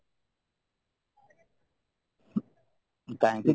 କାହିଁକି